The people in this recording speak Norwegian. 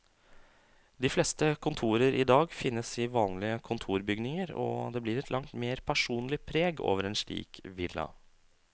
De fleste kontorer i dag finnes i vanlige kontorbygninger, og det blir et langt mer personlig preg over en slik villa.